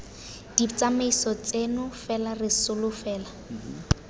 ditsamaiso tseno fela re solofela